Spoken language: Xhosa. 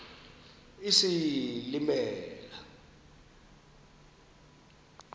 isilimela